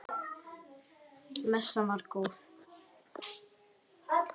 Messan var góð.